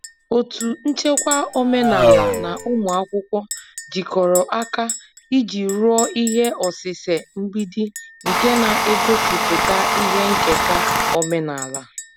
Otu nchekwa omenala na ụmụ akwụkwọ jikọrọ aka iji rụọ ihe osise mgbidi nke na-egosipụta ihe nketa omenala.